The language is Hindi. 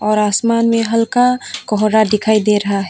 और आसमान में हल्का कोहरा दिखाई दे रहा है।